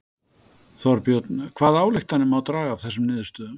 Þorbjörn hvaða ályktanir má draga af þessum niðurstöðum?